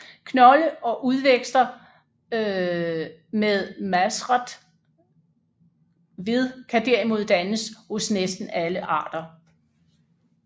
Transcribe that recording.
Knolde og udvækster med masret ved kan derimod dannes hos næsten alle arter